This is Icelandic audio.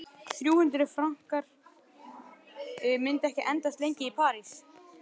Þrjú hundruð frankar myndu ekki endast lengi í París.